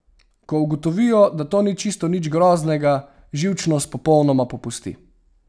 Ko ugotovijo, da to ni čisto nič groznega, živčnost popolnoma popusti.